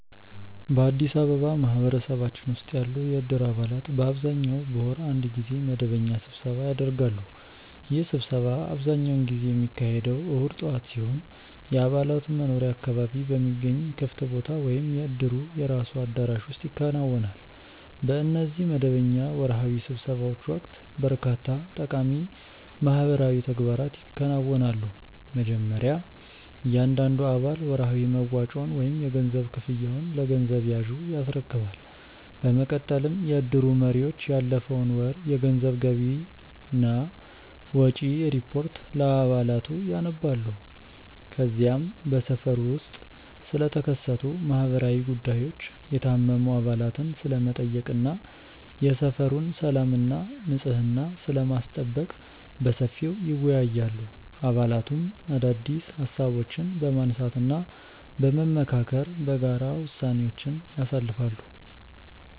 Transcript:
በአዲስ አበባ ማህበረሰባችን ውስጥ ያሉ የእድር አባላት በአብዛኛው በወር አንድ ጊዜ መደበኛ ስብሰባ ያደርጋሉ። ይህ ስብሰባ አብዛኛውን ጊዜ የሚካሄደው እሁድ ጠዋት ሲሆን፣ የአባላቱ መኖሪያ አካባቢ በሚገኝ ክፍት ቦታ ወይም የእድሩ የራሱ አዳራሽ ውስጥ ይከናወናል። በእነዚህ መደበኛ ወርሃዊ ስብሰባዎች ወቅት በርካታ ጠቃሚ ማህበራዊ ተግባራት ይከናወናሉ። መጀመሪያ እያንዳንዱ አባል ወርሃዊ መዋጮውን ወይም የገንዘብ ክፍያውን ለገንዘብ ያዡ ያስረክባል። በመቀጠልም የእድሩ መሪዎች ያለፈውን ወር የገንዘብ ገቢና ወጪ ሪፖርት ለአባላቱ ያነባሉ። ከዚያም በሰፈሩ ውስጥ ስለተከሰቱ ማህበራዊ ጉዳዮች፣ የታመሙ አባላትን ስለመጠየቅ እና የሰፈሩን ሰላምና ንጽሕና ስለማስጠበቅ በሰፊው ይወያያሉ። አባላቱም አዳዲስ ሃሳቦችን በማንሳትና በመመካከር በጋራ ውሳኔዎችን ያሳልፋሉ።